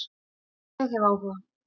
Ég hef áhuga,